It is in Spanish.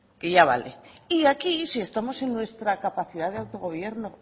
que ya vale y aquí si estamos en nuestra capacidad de autogobierno